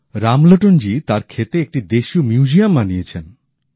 রামলোটন জি তার ক্ষেতে একটি দেশীয় মিউজিয়াম বানিয়েছেন